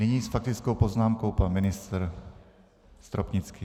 Nyní s faktickou poznámkou pan ministr Stropnický.